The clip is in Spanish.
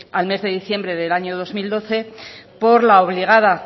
al mes de diciembre del año dos mil doce por la obligada